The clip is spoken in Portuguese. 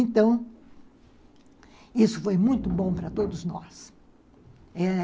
Então, isso foi muito bom para todos nós, é...